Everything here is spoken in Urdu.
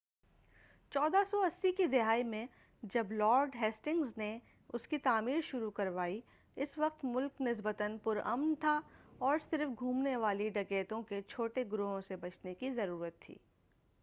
1480 کی دہائی میں جب لارڈ ہیسٹنگز نے اسکی تعمیر شروع کروائی اس وقت ملک نسبتاً پر امن تھا اور صرف گھومنے والے ڈَکیتوں کے چھوٹے گروہوں سے بچنے کی ضرورت تھی